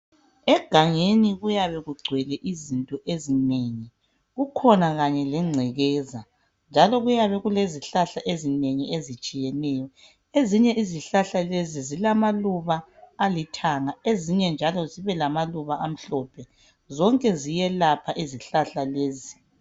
Egangeni kuyabe kugcwele izinto ezinengi kukhona Kanye lengcekeza njalo kuyabe kulezihlahla ezinengi ezitshiyeneyo ezinye izihlahla lezi zilamaluba alithanga ezinye njalo zibe lamaluba amhlophe zonke ziyelapha izihlahla lezi